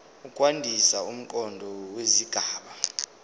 ukwandisa umqondo wesigaba